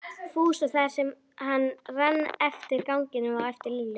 Fúsa þar sem hann rann eftir ganginum á eftir Lillu.